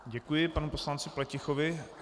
Děkuji panu poslanci Pletichovi.